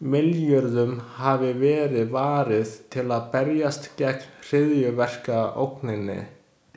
Milljörðum hafi verið varið til að berjast gegn hryðjuverkaógninni.